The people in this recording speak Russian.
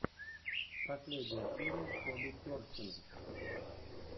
последняя серия коби персина